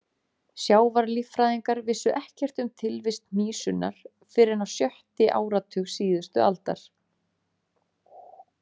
Sjávarlíffræðingar vissu ekkert um tilvist hnísunnar fyrr en á sjötti áratug síðustu aldar.